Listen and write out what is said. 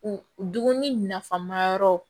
U dumuni nafama yɔrɔw